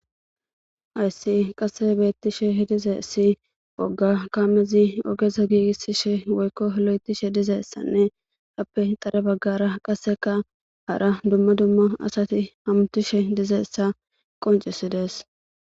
Hays qase betishe dizays woga kamez ogeza giigisishe woyko lo'ethishe dizaysa dizaysanne etappe mile bagara qaseka hara dumma dumma asat hamutishe dizaysa qoncises.